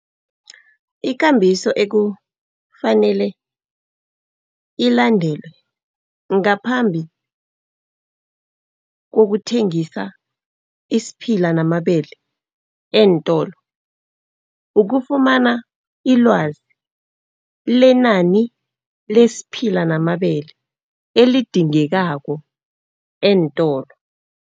Ukambiso ekufanele ilandelwe ngaphambi kokuthengisa isiphila namabele eentolo, ukufumana ilwazi lenani lesiphila namabele elidingekako eentolo.